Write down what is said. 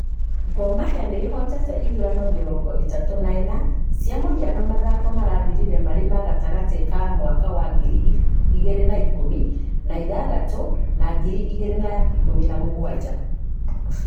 Gor Mahia nĩ ĩhotete ithurano mĩrongoĩtatũ na ĩna cia mũhiano mathako marathirire marĩ gatagatĩ ka mwaka wa ngiri igĩrĩ na ikũmi na ithathatũ na ngiri igĩrĩ na ikũmi na mũgũanja.